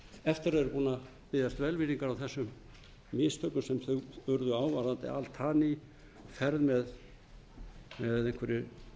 eftir að vera búin að biðjast velvirðingar á þessum mistökum sem þeim urðu á varðandi altaniferð með einhverju